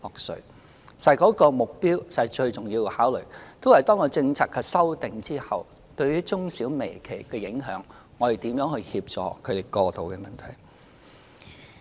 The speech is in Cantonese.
事實上該措施最重要的考慮，是面對政策修訂後對於中小微企的影響，政府應該如何協助他們過渡的問題。